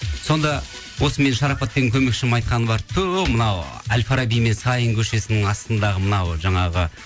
сонда осы менің шарапат деген көмекшім айтқаны бар ту мынау аль фараби мен саин көшесінің астындағы мынау жаңағы